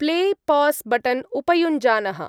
Play-pass button उपयुञ्जानः।